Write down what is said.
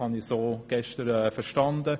So habe ich das gestern verstanden.